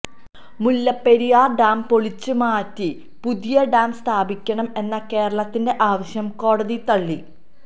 Mullaperiyar dam പൊളിച്ച് മാറ്റി പുതിയ ഡാം സ്ഥാപിക്കണം എന്ന കേരളത്തിന്റെ ആവശ്യം കോടതി തള്ളി